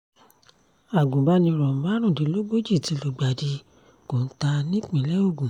agunbaniro márùndínlógójì ti lùgbàdì kọ́ńtà nípìnlẹ̀ ogun